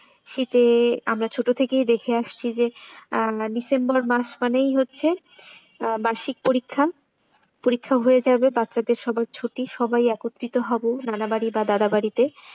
শীতে আমরা ছোট থেকেই দেখে আসছি যে হচ্ছে ডিসেম্বর মাস মানেই হচ্ছে বার্ষিক পরীক্ষা, পরীক্ষা হয়ে যাবে বচ্ছা দের সবার ছুটি সবাই একত্রিত হব নানাবাড়ি বা দাদা বাড়িতে।